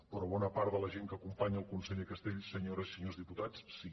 però a una bona part de la gent que acompanya el conseller castells senyores i senyors diputats sí